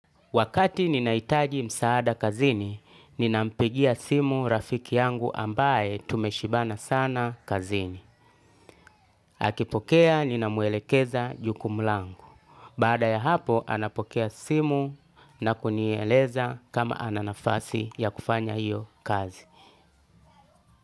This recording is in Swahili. Wakati ninahitaji msaada kazini, ninampigia simu rafiki yangu ambaye tumeshibana sana kazini. Akipokea, ninamwelekeza jukumu langu. Baada ya hapo, anapokea simu na kunieleza kama ana nafasi ya kufanya hio kazi.